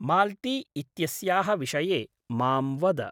माल्ती इत्यस्याः विषये मां वद।